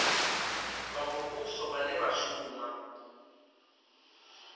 vha muvhuso vhane vha shuma